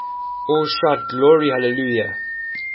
all shout glory hallelujah